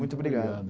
Muito obrigado.